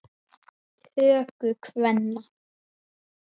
töku kvenna.